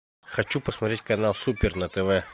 хочу посмотреть канал супер на тв